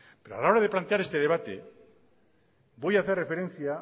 pero a la hora de plantear este debate voy a hacer referencia